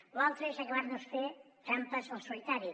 lo altre és acabar nos fent trampes al solitari